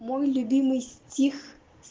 мой любимый стих